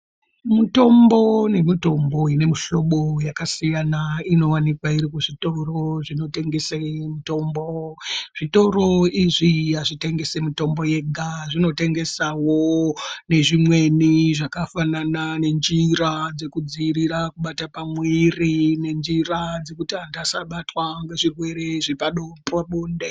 Mitombo nemitombo ine mihlobo yakasiyana inowanikwa iri muzvitoro zvinotengese mitombo. Zvitoro izvi azvitengesi mitombo yega. Zvinotengesawo nezvimweni zvakafanana nenjira dzekudziirira kubata pamwiri nenjira dzekuti anthu asabatwa ngezvirwere zvepabonde.